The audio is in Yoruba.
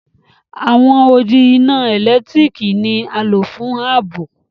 Awọn òdì iná èlẹ́tiríkì ni à lọ̀ fún ààbọ̀.